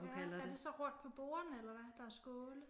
Ja er det så rundt på bordene eller hvad der er skåle?